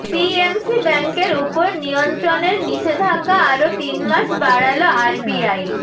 PMC ব্যাঙ্কের উপর নিয়ন্ত্রণের নিষেধাজ্ঞা আরও তিন মাস বাড়াল আরবিআই